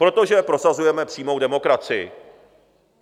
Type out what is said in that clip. Protože prosazujeme přímou demokracii.